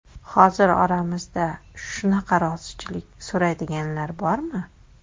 Hozir oramizda shunaqa rozichilik so‘raydiganlar bormi?